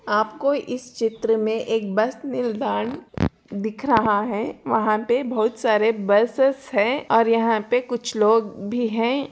आपको इस चित्र में एक बस निलदंड दिख रहा है| वहाँ पे बहुत सारे बसेस है और यहाँ पे कुछ लोग भी हैं।